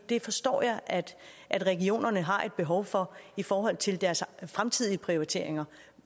det forstår jeg at at regionerne har et behov for i forhold til deres fremtidige prioriteringer